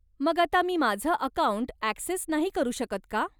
मग आता मी माझं अकाऊंट ॲक्सेस नाही करू शकत का?